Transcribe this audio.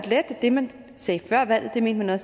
at det man sagde før valget mener